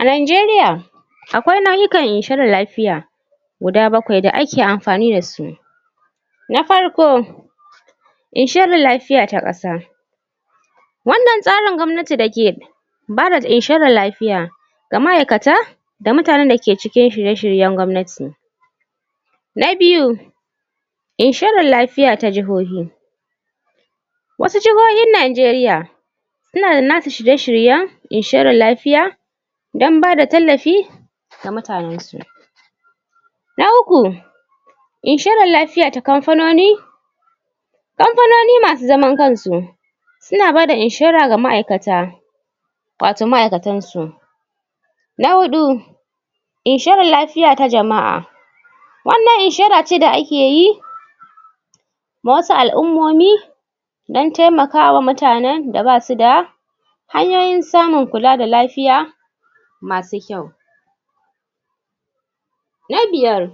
A Najeriya akwai nau'ikan inshorar lafya guda bakwai da ake amfani da su na farko Inshorar lafiya ta ƙasa. wannan tsarin gwamnati da ke ba da inshorar lafiya ga ma'aikata da mutanen da ke cikin shirye-shiryen gwamnati. Na biyu Inshorara lafiya ta jihohi wasu jihohin Najeriya suna da nasu shirye-shiryen inshorar lafiya don ba da tallafi ga mutanensu. na uku, inshorar lafiya ta kamfanoni. kamfanoni masu zaman kansu suna bada inshora ga ma'aikata wato ma'aikatansu. Na huɗu Inshorar lafiya ta jama'a wannan inshora ce da ake yi ma wasu al'ummomi don taimakawa mutanen da ba su da hanyoyin samun kula da lafiya masu kyau. Na biyar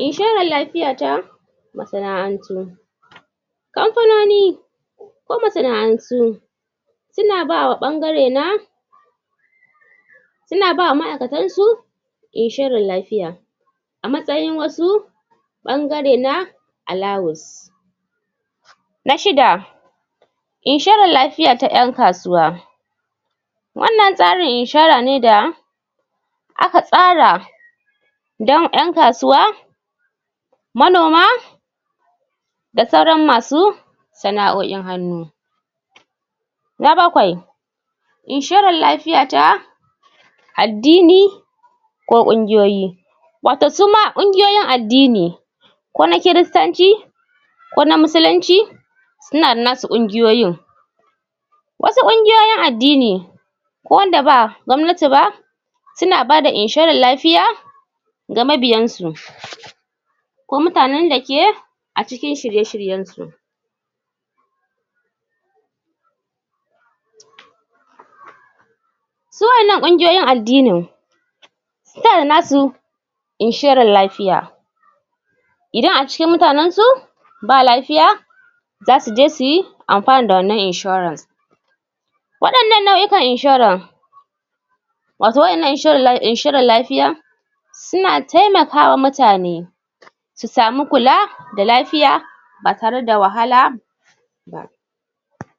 inshorar lafiya ta masana'antu kamfanoni ko masana'antu suna ba wa ɓangare na suna ba wa ma'aikatansu inshorar lafiya. a matsayin wasu ɓangare na alawus. Na shida inshorar lafiya ta ƴan kasuwa. wannan tsarin inshora ne da aka tsara don ƴan kasuwa manoma da sauran masu sana'oin hannu. Na bakwai Inshorar lafiya ta addini ko ƙungiyoyi wato su ma ƙungiyoyin addini ko na kiristanci ko na Musulunci suna da nasu ƙungiyoyin Wasu ƙungiyoyin addini ko na wanda ba na gwamnati ba suna ba da inshorar lafiya ga mabiyansu. ko mutanen da ke a ciki shirye-shiryensu. Su waɗannan ƙungiyoyin addinin suna da nasu inshorar lafiya idan a cikin mutanensu ba lafiya za su je su amfana da wannan inshorar. waɗannan nau'ikan inshorar wato waɗannan inshorar lafiyar suna taimaka wa mutane su samu kula da lafiya ba tare da wahala ba.